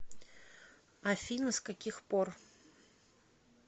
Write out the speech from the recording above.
афина с каких пор